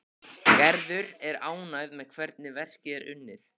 Gerður er ánægð með hvernig verkið er unnið.